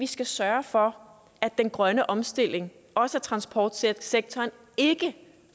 skal sørge for at den grønne omstilling også af transportsektoren ikke